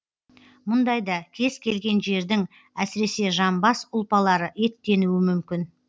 мұндайда кез келген жердің әсіресе жамбас ұлпалары еттенуі мүмкін